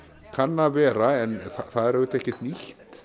kann að vera en það er auðvitað ekkert nýtt